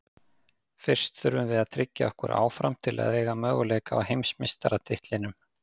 Fyrst þurfum við að tryggja okkur áfram til að eiga möguleika á heimsmeistaratitlinum.